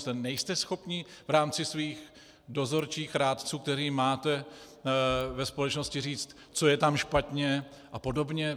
Nebo nejste schopni v rámci svých dozorčích rádců, které máte ve společnosti, říct, co je tam špatně, a podobně?